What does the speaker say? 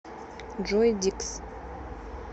джой дикс